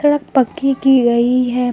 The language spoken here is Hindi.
सड़क पक्की की गई है।